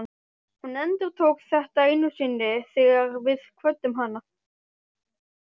Hún endurtók þetta enn einu sinni þegar við kvöddum hana.